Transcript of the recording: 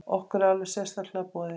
Okkur er alveg sérstaklega boðið.